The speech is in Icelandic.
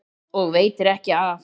Og veitir ekki af!